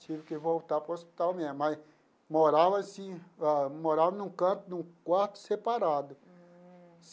Tive que voltar para o hospital mesmo, mas morava assim, ah morava num canto, num quarto separado.